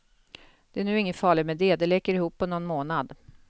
Det är nu inget farligt med det, det läker ihop på någon månad.